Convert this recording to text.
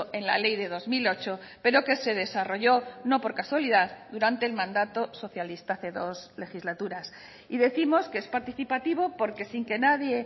en la ley de dos mil ocho pero que se desarrolló no por casualidad durante el mandato socialista hace dos legislaturas y décimos que es participativo porque sin que nadie